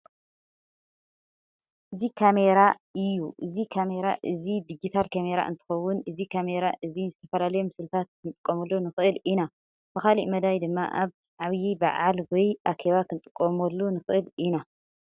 እዚ ካሜራ እዩ። እዚ ካሜራ እዚ ድጅታል ካሜራ እንትከውን እዚ ካሜራ እዚ ንዝተፈላለዩ ምስልታት ክንጥቀመሉ ንክእል ኢና። ብካሊእ መዳይ ድማ ኣብ ዓብይ በዓል ወይ ኣኬባ ክንጥቀመሉ ንክእል ኢና።